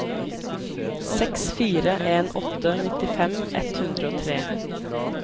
seks fire en åtte nittifem ett hundre og tre